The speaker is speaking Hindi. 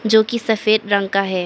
जो कि सफेद रंग का है।